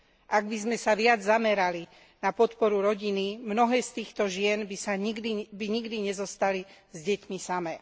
Ak by sme sa viac zamerali na podporu rodiny, mnohé z týchto žien by nikdy nezostali s deťmi samé.